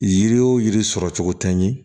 Yiri o yiri sɔrɔ cogo tɛ ɲɛ